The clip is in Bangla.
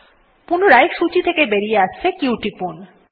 পুনরায় সূচী থেকে বাইরে আসতে q টিপুন